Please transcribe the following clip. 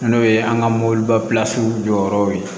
N'o ye an ka mobiliba jɔyɔrɔw ye